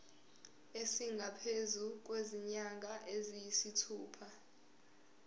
esingaphezu kwezinyanga eziyisithupha